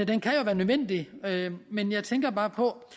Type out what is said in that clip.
den kan jo være nødvendig men jeg tænker bare på